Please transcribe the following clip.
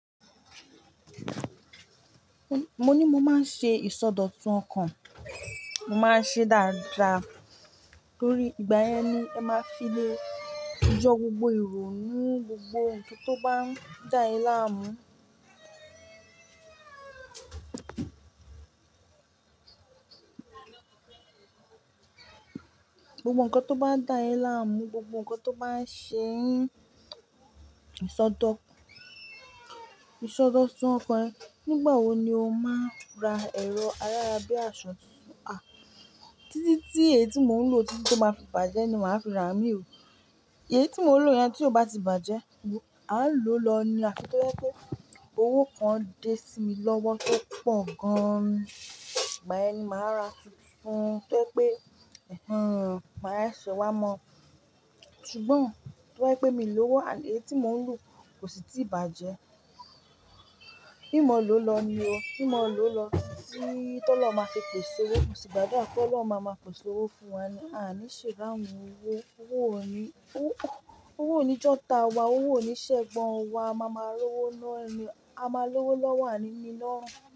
Mo ní mo máa ń ṣe ìsọdọ̀tun ọkàn, mo máa ń ṣe dáadáa torí ìgbà yẹn ni ẹ máa fi lè jọ gbogbo irò nu, gbogbo ohun tó bá ń dá ẹ láàmú. Gbogbo ǹkan tó bá ń dá ẹ láàmú, gbogbo ǹkan tó bá ń ṣe ìsọdọ̀, ìsọdọ̀tun ọkàn ẹ. Nígbà wo ni o máa ra ẹ̀rọ ayárabíàṣa tuntun? A! Títí tí èyí tí mò ń lò títí tó máa fi bàjẹ́ ni màá fi ra àmì ò. Èyí tí mò ń lò yẹn tí ó bá ti bàjẹ́, a ń lò lọ nía. Afí to ba jẹ pé owó kan dé sí mi lọ́wọ́ tó pọ̀ gan-an. Ìgbà ẹni màá ra tuntun tí ó jẹ pé, "Ẹ̀hẹ́n, màá sọ wá mọ̀." Ṣùgbọ́n tó ba jẹ pé mi lówó, àní èyí tí mò ń lò kò sì ti bàjẹ́. Kí mọ lọ̀ lọ ni o. Kí mọ̀ lọ̀ lọ títí tó lọ́ máa fi pèsè owó. Mò sì gbadua à kí Ọlọ́run máa ma pèsè owó fún wa ni a ní ṣe ráhun owó. Owó ò ní, owó, owó ò ní jọ̀ta wa, owó ò ní ṣẹ̀gbọ́n wa. A máa ma rówó lọ́ni, a máa rówó lọ́wọ́ àní mi lọ́run.